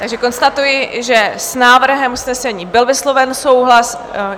Takže konstatuji, že s návrhem usnesení byl vysloven souhlas.